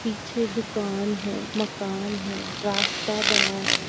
पीछे दुकान है मकान है रास्ता बना है ।